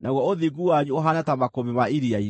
naguo ũthingu wanyu ũhaane ta makũmbĩ ma iria-inĩ.